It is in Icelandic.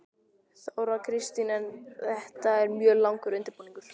Þóra Kristín: En þetta er mjög langur undirbúningur?